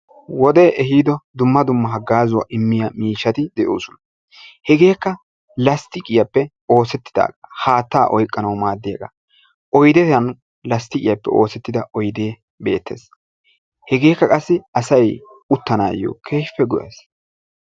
Wodee ehiido dumma dumma haggaazaa immiya miishshati de"oosona. Hegeekka lasttiqiyappe oosettidaagaa haatta oyqqanawu maaddiyagaa oydiyan lasttiqiyappe oosettida oydee beettes. Hegeekka qassi asayi uttanaayyo keehippe go"es.